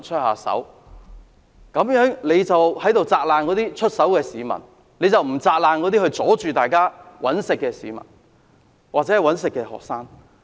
可是，尹議員只責難出手的市民，卻沒有責難那些阻礙大家"搵食"的學生。